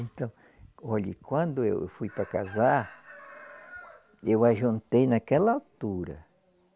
Então, olhe, quando eu fui para casar, eu ajuntei naquela altura.